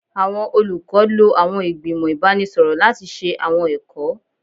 Awọn olukọ lo awọn igbimọ ibanisọrọ lati ṣe awọn ẹkọ